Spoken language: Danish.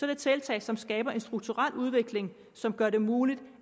det tiltag som skaber en strukturel udvikling som gør det muligt